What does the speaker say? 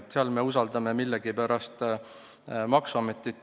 Ettevõtjate puhul usaldame millegipärast maksuametit.